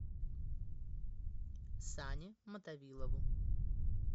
сане мотовилову